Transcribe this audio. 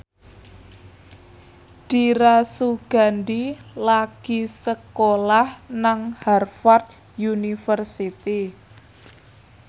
Dira Sugandi lagi sekolah nang Harvard university